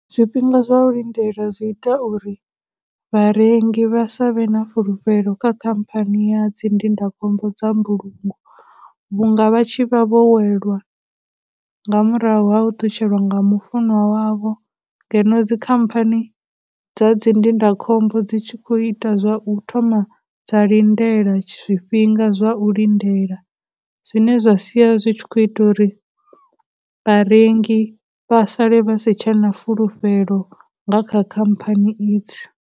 Zwifhinga zwa u lindela zwi ita uri vharengi vha sa vhe na fulufhelo kha khamphani ya dzindindakhombo dza mbulungo vhunga, vha tshi vha vho welwa nga murahu ha u ṱutshela nga mufunwa wavho ngeno dzi khamphani dza dzindindakhombo dzi tshi khou ita zwa u thoma dza lindela zwifhinga zwa u lindelawi. Zne zwa sia zwi tshi khou ita uri vharengi vha sale vha si tshe na fulufhelo nga kha khamphani idzi.